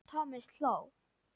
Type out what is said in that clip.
Thomas hló.